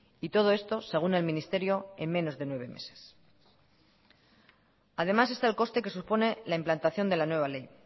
y todo esto según el ministerio en menos de nueve meses además está el coste que supone la implantación de la nueva ley